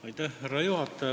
Austatud härra juhataja!